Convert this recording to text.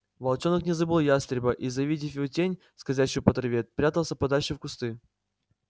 волчонок не забыл ястреба и завидев его тень скользящую по траве прятался подальше в кусты